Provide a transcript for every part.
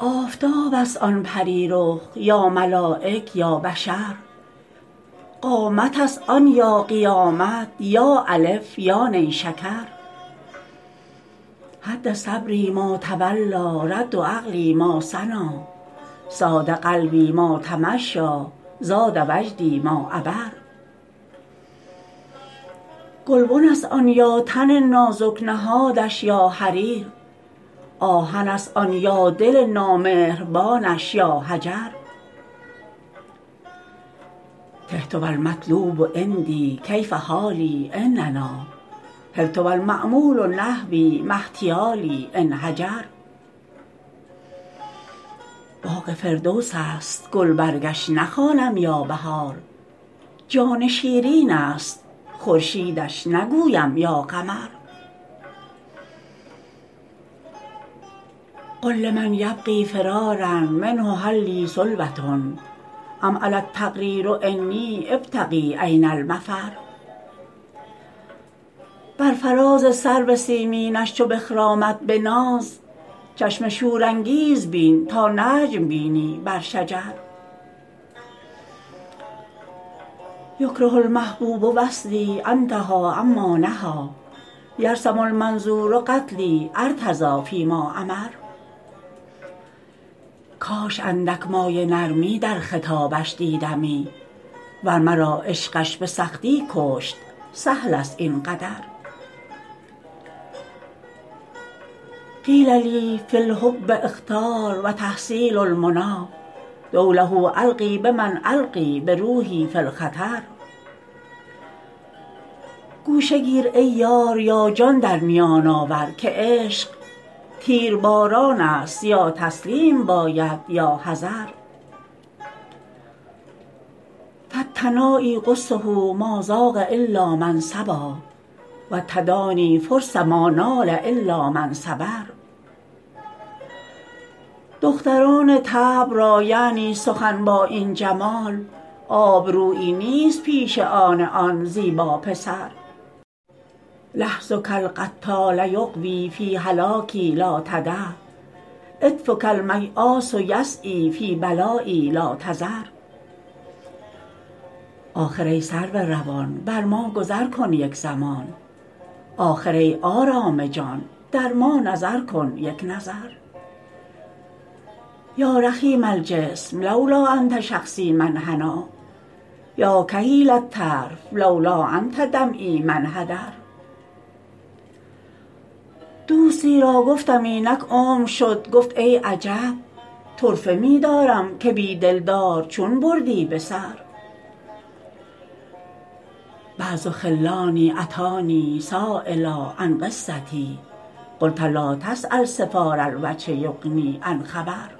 آفتاب است آن پری رخ یا ملایک یا بشر قامت است آن یا قیامت یا الف یا نیشکر هد صبری ما تولیٰ رد عقلی ما ثنیٰ صاد قلبی ما تمشیٰ زاد وجدی ما عبر گلبن است آن یا تن نازک نهادش یا حریر آهن است آن یا دل نامهربانش یا حجر تهت و المطلوب عندی کیف حالی إن نأیٰ حرت و المأمول نحوی ما احتیالی إن هجر باغ فردوس است گلبرگش نخوانم یا بهار جان شیرین است خورشیدش نگویم یا قمر قل لمن یبغی فرارا منه هل لی سلوة أم علی التقدیر أنی أبتغي أین المفر بر فراز سرو سیمینش چو بخرامد به ناز چشم شورانگیز بین تا نجم بینی بر شجر یکره المحبوب وصلی أنتهي عما نهیٰ یرسم المنظور قتلی أرتضی فی ما أمر کاش اندک مایه نرمی در خطابش دیدمی ور مرا عشقش به سختی کشت سهل است این قدر قیل لی فی الحب أخطار و تحصیل المنیٰ دولة ألقی بمن ألقیٰ بروحی فی الخطر گوشه گیر ای یار یا جان در میان آور که عشق تیرباران است یا تسلیم باید یا حذر فالتنایی غصة ما ذاق إلا من صبا و التدانی فرصة ما نال إلا من صبر دختران طبع را یعنی سخن با این جمال آبرویی نیست پیش آن آن زیبا پسر لحظک القتال یغوی فی هلاکی لا تدع عطفک المیاس یسعیٰ فی بلایی لا تذر آخر ای سرو روان بر ما گذر کن یک زمان آخر ای آرام جان در ما نظر کن یک نظر یا رخیم الجسم لولا أنت شخصی ما انحنیٰ یا کحیل الطرف لولا أنت دمعی ما انحدر دوستی را گفتم اینک عمر شد گفت ای عجب طرفه می دارم که بی دلدار چون بردی به سر بعض خلانی أتانی سایلا عن قصتی قلت لا تسأل صفار الوجه یغنی عن خبر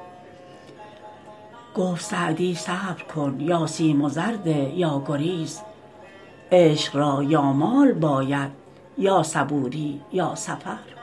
گفت سعدی صبر کن یا سیم و زر ده یا گریز عشق را یا مال باید یا صبوری یا سفر